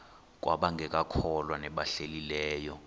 kwabangekakholwa nabahlehli leyo